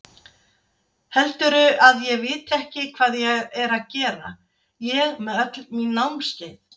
Heldurðu að ég viti ekki hvað ég er að gera, ég með öll mín námskeið.